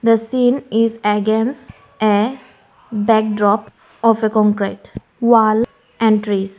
The scene is against a backdrop of a concrete wall and trees.